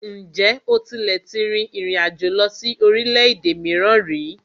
Ǹjẹ́ o tílẹ̀ tí rìn ìrin àjò lọ sí orílẹ̀-èdè mìíràn ríi?